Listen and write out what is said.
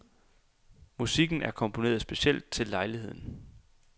Musikken er komponeret specielt til lejligheden.